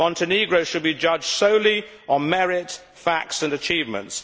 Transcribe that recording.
Montenegro should be judged solely on merit, facts and achievements.